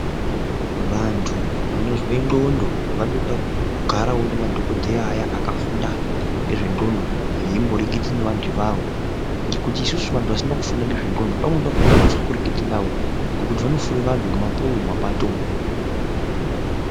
Vantu vanozwe ndxondo vanoda kugarawo nemadhokodheya ayawo akafunda nezvendxondo veimboreketa nevantu avavo ngekuti isusu vantu vasina kufunda ngezvendxondo pamweni pakona totye kurekete navo ngekuti vanofure vantu nemapuwe mumapato umu.